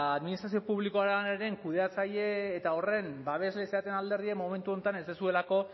administrazio publikoaren kudeatzaile eta horren babesle zareten alderdien momentu honetan ez duzuelako